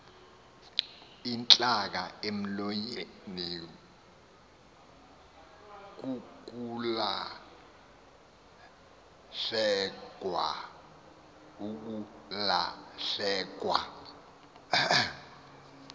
intlaka emlonyeni kukulahlekwa